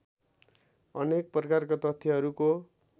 अनेक प्रकारका तथ्यहरूको